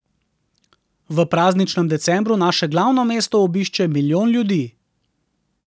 V prazničnem decembru naše glavno mesto obišče milijon ljudi.